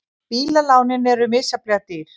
Bílalánin misjafnlega dýr